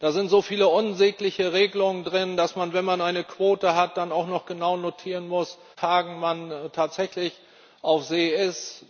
Da sind so viele unsägliche Regelungen drin, dass man, wenn man eine Quote hat, dann auch noch genau notieren muss, an welchen Fangtagen man tatsächlich auf See ist.